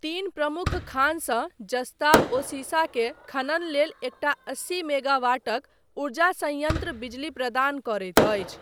तीन प्रमुख खानसँ जस्ता ओ सीसा के खनन लेल एकटा अस्सी मेगावाटक ऊर्जा संयन्त्र बिजली प्रदान करैत अछि।